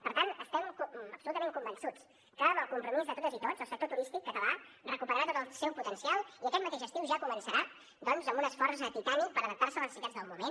per tant estem absolutament convençuts que amb el compromís de totes i tots el sector turístic català recuperarà tot el seu potencial i aquest mateix estiu ja començarà doncs amb un esforç titànic per adaptar se a les necessitats del moment